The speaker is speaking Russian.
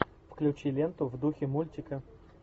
включи ленту в духе мультика